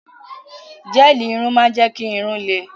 Gẹ́ẹ̀lì irun máa ń jẹ́ kí irun-ún lẹ